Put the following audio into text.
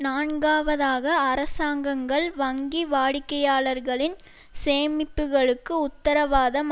நான்காவதாக அரசாங்கங்கள் வங்கி வாடிக்கையாளர்களின் சேமிப்புக்களுக்கு உத்தரவாதம்